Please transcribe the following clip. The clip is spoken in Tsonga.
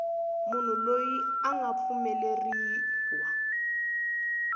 munhu loyi a nga pfumeleriwa